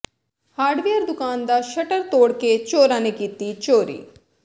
hardware ਦੁਕਾਨ ਦਾ shutter ਤੋੜਕੇ ਚੋਰਾਂ ਨੇ ਕੀਤੀ ਚੋਰੀ